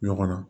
Ɲɔgɔn na